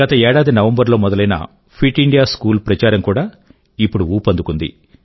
గత ఏడాది నవంబర్ లో మొదలైన ఫిట్ ఇండియా స్కూల్ ప్రచారం కూడా ఇప్పుడు ఊపందుకుంది